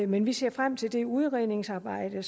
men vi ser frem til det udredningsarbejde